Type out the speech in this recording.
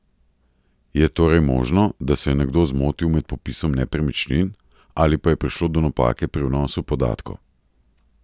Je torej možno, da se je nekdo zmotil med popisom nepremičnin, ali pa je prišlo do napake pri vnosu podatkov?